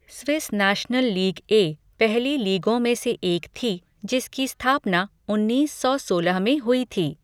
Swiss national league A पहली लीगों में से एक थी, जिसकी स्थापना उन्नीस सौ सोलह में हुई थी।